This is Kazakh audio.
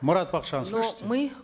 марат бакытжанович слышите но мы